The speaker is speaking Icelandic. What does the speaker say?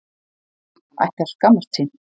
Hann ætti að skammast sín!